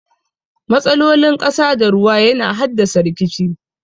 Matsalolin ƙasa da ruwa yana haddasa rikici.